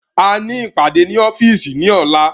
A ní ìpàdé ní ọ́fíìsì ní ọ̀la